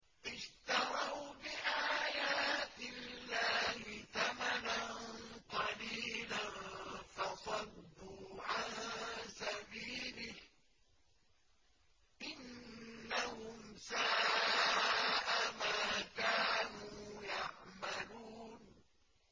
اشْتَرَوْا بِآيَاتِ اللَّهِ ثَمَنًا قَلِيلًا فَصَدُّوا عَن سَبِيلِهِ ۚ إِنَّهُمْ سَاءَ مَا كَانُوا يَعْمَلُونَ